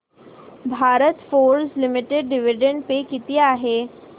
Bharat Forge limited dividend pay किती आहे